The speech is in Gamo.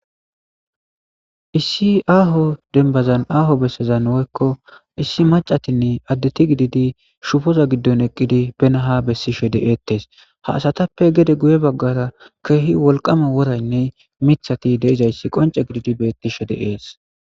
issi aaho denbazan aaho bessezan woykko issi macatinne addeti gididi shufoza giddon eqqidi benaha bessi shede7eettes ha asatappe gede guye baggara keehi wolqama woraynne mithati deizayssi qonce gididi betti she deees